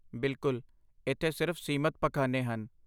ਬਿਲਕੁਲ, ਇੱਥੇ ਸਿਰਫ ਸੀਮਤ ਪਖਾਨੇ ਹਨ।